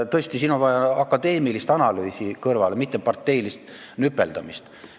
Tõesti, siin on vaja akadeemilist analüüsi, mitte parteilist nüpeldamist.